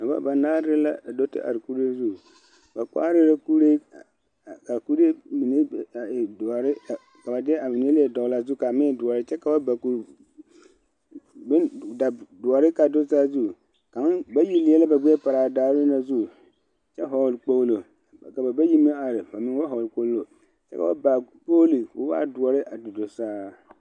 Noba banaare la do te are kobo zu ba kpare la kuri ka ba de a mine a dogle zu doɔre kaa do saazu bayi leɛ la ba gbɛɛ pare a daare zu kyɛ vɔgle kpoŋlo bamine ba vɔgle kpoŋlo kpoŋlo ko waa doɔre te do saa.